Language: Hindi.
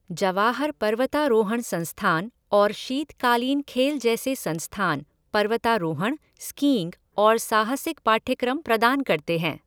जवाहर पर्वतारोहण संस्थान और शीतकालीन खेल जैसे संस्थान पर्वतारोहण, स्कीइंग और साहसिक पाठ्यक्रम प्रदान करते हैं।